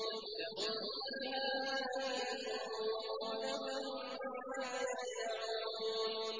لَهُمْ فِيهَا فَاكِهَةٌ وَلَهُم مَّا يَدَّعُونَ